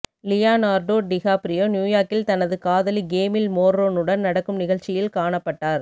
Leonardo DiCaprio நியூயார்க்கில் தனது காதலி கேமில்ல் மோர்ரோனுடன் நடக்கும் நிகழ்ச்சியில் காணப்பட்டார்